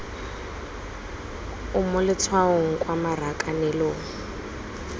o mo letshwaong kwa marakanelong